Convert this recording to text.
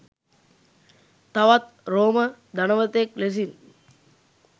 තවත් රෝම ධනවතෙක් ලෙසින්.